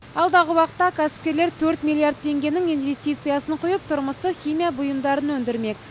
алдағы уақытта кәсіпкерлер төрт миллиард теңгенің инвестициясын құйып тұрмыстық химия бұйымдарын өндірмек